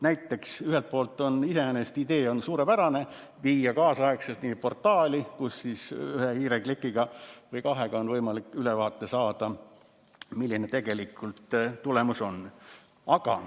Näiteks, ühelt poolt on iseenesest suurepärane idee viia see kõik kaasaegselt ühte portaali, kus ühe või kahe hiireklikiga on võimalik ülevaade saada, milline tegelikult tulemus on.